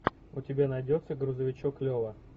у тебя найдется грузовичок лева